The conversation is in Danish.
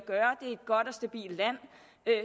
stabilt land